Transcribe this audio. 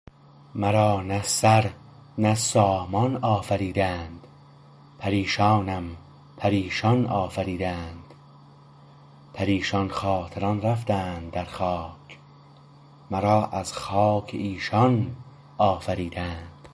مرا نه سر نه سامان آفریدند پریشانم پریشان آفریدند پریشان خاطران رفتند در خاک مرا از خاک ایشان آفریدند